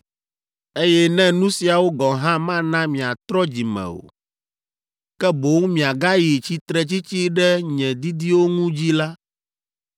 “Eye ne nu siawo gɔ̃ hã mana miatrɔ dzi me o, ke boŋ miagayi tsitretsitsi ɖe nye didiwo ŋu dzi la,